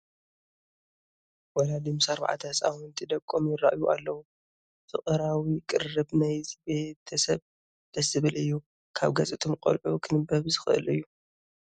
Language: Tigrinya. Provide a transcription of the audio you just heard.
ወለዲ ምስ ኣርባዕተ ህፃውንቲ ደቆም ይርአዩ ኣለዉ፡፡ ፍቕራዊ ቅርርብ ናይዚ ቤተ ሰብ ደስ ዝብል እዩ፡፡ ካብ ገፅ እቶም ቆልዑ ክንበብ ዝኽእል እዩ፡፡